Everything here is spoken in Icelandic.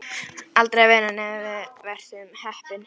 Aldrei að vita nema við verðum heppin.